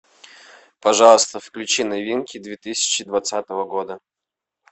пожалуйста включи новинки две тысячи двадцатого года